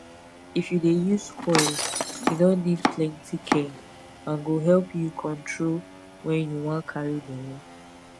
if u dey use coil e no need plenty care and go help u control wen u wan carry belle